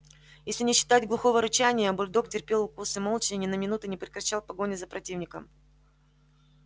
если не считать глухого рычания бульдог терпел укусы молча и ни на минуту не прекращал погони за противником